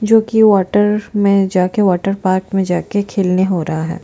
जो कि वाटर में जाके के वाटर पार्क में जाके खेलने हो रहा है।